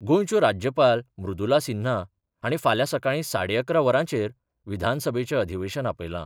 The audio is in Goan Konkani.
गोंयच्यो राज्यपाल मृदुला सिन्हा हांणी फाल्यां सकाळी साडे अकरा वरांचेर विधानसभेचें अधिवेशन आपयलां.